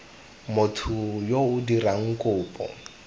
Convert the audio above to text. motho yo o dirang kopo